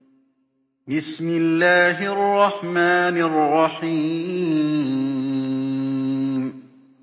بِسْمِ اللَّهِ الرَّحْمَٰنِ الرَّحِيمِ